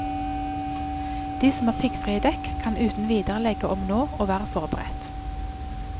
De som har piggfrie dekk, kan uten videre legge om nå og være forberedt.